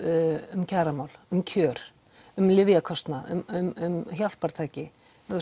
um kjaramál um kjör um lyfjakostnað um hjálpartæki